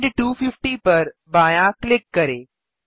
end 250पर बायाँ click करें